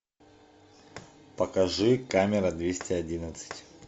покажи камера двести одиннадцать